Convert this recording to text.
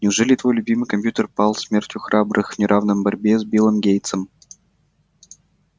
неужели твой любимый компьютер пал смертью храбрых в неравной борьбе с биллом гейтсом